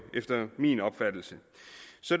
efter min opfattelse